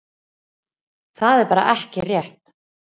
Það er bara ekki rétt.